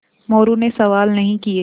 मोरू ने सवाल नहीं किये